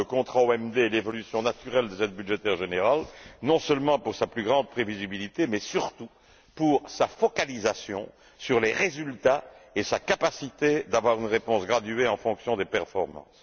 Le contrat OMD est l'évolution naturelle des aides budgétaires générales, non seulement pour sa plus grande prévisibilité mais surtout pour sa focalisation sur les résultats et sa capacité d'avoir une réponse graduée en fonction des performances.